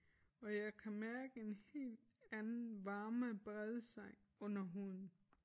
Og jeg kan mærke en helt anden varme brede sig under huden